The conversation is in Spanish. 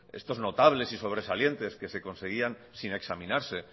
estos notables y sobresalientes que se conseguían sin examinarse